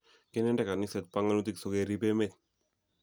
Kinende kaniset panganutik so kerib emet